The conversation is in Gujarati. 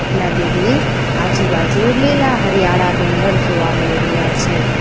નદીની આજુબાજુ લીલા હરિયાળા ડુંગર જોવા મળી રહ્યા છે.